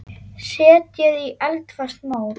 Setjið í eldfast mót.